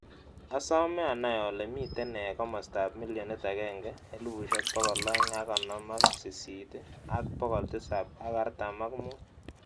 Asoome anai ole miten nee komostap millionit agenge, elifusiek bogol oeng ak gonom ak sisiit ii, ak bogol tisap ak artam ak muut